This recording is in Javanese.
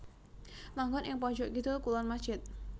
Manggon ing pojok kidul kulon masjid